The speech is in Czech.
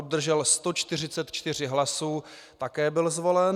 Obdržel 144 hlasy, také byl zvolen.